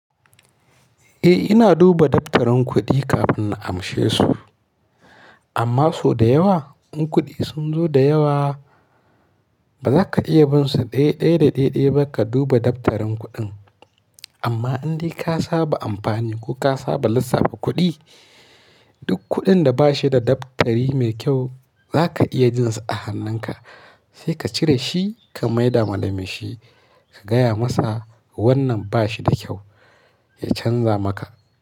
Eh, ina duba daftarin kuɗi kafin na amshe su. Amma so da yawa, in kuɗi sun zo da yawa, ba za ka iya bin su ɗai-ɗai da ɗai-ɗai ba ka duba daftarin kuɗin. Amma in dai ka saba amfani ko ka saba lissafa kuɗi, duk kuɗin da ba shi da daftari mai kyau za ka iya jin su a hannunka. Sai ka cire shi ka maida wa da mai shi ka gaya masa wannan ba shi da kyau, ya canza maka.